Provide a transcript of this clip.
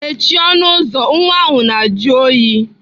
Mechie ọnụ ụzọ nwa ahụ na-ajụ oyi!